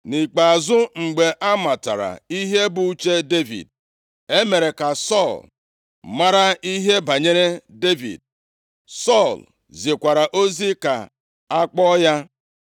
Nʼikpeazụ, mgbe a matara ihe bụ uche Devid, e mere ka Sọl mara ihe banyere Devid. Sọl zikwara ozi ka a kpọọ ya.